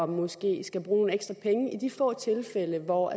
måske skal bruge nogle ekstra penge i de få tilfælde hvor